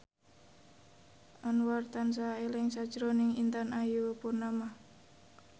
Anwar tansah eling sakjroning Intan Ayu Purnama